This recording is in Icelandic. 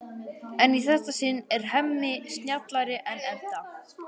En í þetta sinn er Hemmi snjallari en Edda.